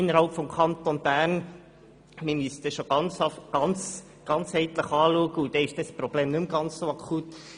Man müsste das schon ganzheitlich betrachten und dann ist das Problem nicht mehr so akut.